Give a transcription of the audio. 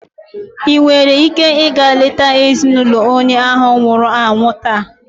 Ị nwere ike ịga leta ezinụlọ onye ahu nwụrụ anwụ taa.